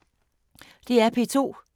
DR P2